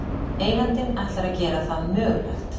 Eigandinn ætlar að gera það mögulegt